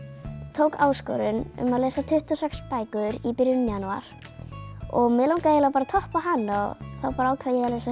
tók áskorun um að lesa tuttugu og sex bækur í byrjun janúar og mig langaði bara að toppa hana og þá ákvað ég að lesa